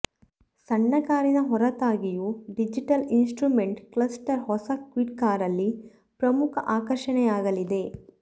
ಸಣ್ಣ ಕಾರಿನ ಹೊರತಾಗಿಯೂ ಡಿಜಿಟಲ್ ಇನ್ಸ್ಟ್ರುಮೆಂಟ್ ಕ್ಲಸ್ಟರ್ ಹೊಸ ಕ್ವಿಡ್ ಕಾರಲ್ಲಿ ಪ್ರಮುಖ ಆಕರ್ಷಣೆಯಾಗಲಿದೆ